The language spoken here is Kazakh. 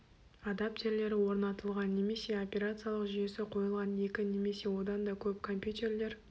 адаптерлері орнатылған немесе операциялық жүйесі қойылған екі немесе одан да көп компьютерлер